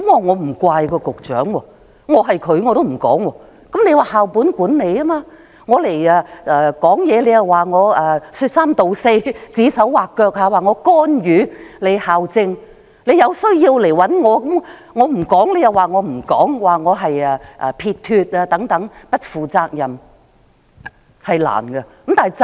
現在實行校本管理，作為局長如果發聲，會被認為是說三道四、指手劃腳、干預校政，有需要便找他好了；如果他不說，大家卻又會批評他，說他不負責任等。